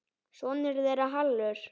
Sonur þeirra er Hallur.